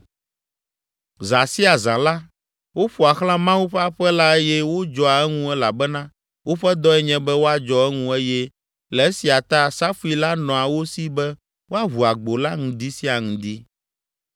Zã sia zã la, woƒoa xlã Mawu ƒe aƒe la eye wodzɔa eŋu elabena woƒe dɔe nye be woadzɔ eŋu eye le esia ta safui la nɔa wo si be woaʋu agbo la ŋdi sia ŋdi.